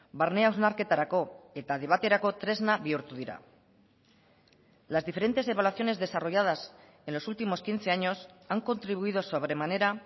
barne hausnarketarako eta debaterako tresna bihurtu dira las diferentes evaluaciones desarrolladas en los últimos quince años han contribuido sobremanera